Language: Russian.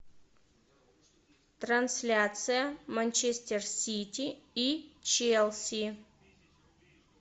трансляция манчестер сити и челси